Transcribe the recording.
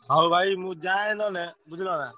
ହଉ ଭାଇ ମୁଁ ଯାଏ ନହେଲେ ବୁଝିଲନା?